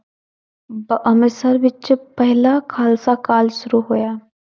ਬ~ ਅੰਮ੍ਰਿਤਸਰ ਵਿੱਚ ਪਹਿਲਾ ਖਾਲਸਾ college ਸ਼ੁਰੂ ਹੋਇਆ।